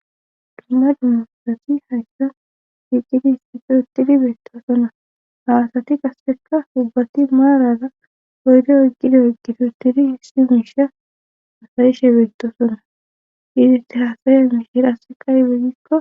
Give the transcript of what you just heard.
dumma dumma karasi hayka fiiqqidi histito tidi beettasona hawasati qasekka ubbati maarara oyde oyqqido iqgitutiri hissi miisha asayishe beettosonna iiziti haasayiya miishhirase kaigeygikko